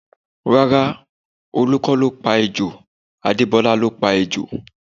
Rárá, Olu kọ́ ló pa ejò, Adebola ló pa ejò